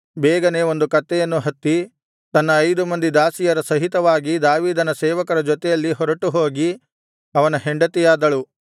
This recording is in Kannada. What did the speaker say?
ಬೇಗನೇ ಒಂದು ಕತ್ತೆಯನ್ನು ಹತ್ತಿ ತನ್ನ ಐದು ಮಂದಿ ದಾಸಿಯರ ಸಹಿತವಾಗಿ ದಾವೀದನ ಸೇವಕರ ಜೊತೆಯಲ್ಲಿ ಹೊರಟು ಹೋಗಿ ಅವನ ಹೆಂಡತಿಯಾದಳು